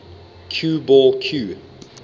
cue ball cue